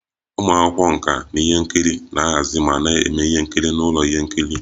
Ụmụ akwụkwọ nka ihe nkiri na-ahazi ma na-eme ihe nkiri n'ụlọ ihe nkiri